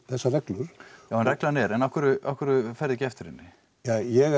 þessar reglur reglan er en af hverju af hverju ferðu ekki eftir henni ja ég